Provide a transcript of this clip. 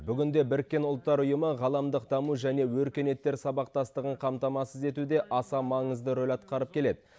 бүгінде біріккен ұлттар ұйымы ғаламдық даму және өркениеттер сабақтастығын қамтамасыз етуде аса маңызды рөл атқарып келеді